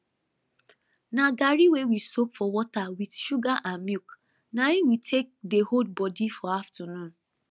na garri wey we soak for water with sugar and milk na im we take dey hold body for afternoon